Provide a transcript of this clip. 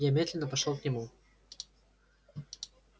я медленно пошёл к нему